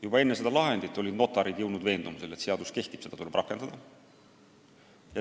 Juba enne seda lahendit olid notarid jõudnud veendumusele, et seadus kehtib ja seda tuleb rakendada.